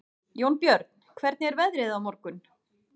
Jónbjörn, hvernig er veðrið á morgun?